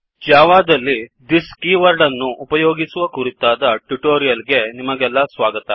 Java ದಲ್ಲಿthisದಿಸ್ keyword ಅನ್ನು ಉಪಯೋಗಿಸುವ ಕುರಿತಾದ ಟ್ಯುಟೋರಿಯಲ್ ಗೆ ನಿಮಗೆಲ್ಲಾ ಸ್ವಾಗತ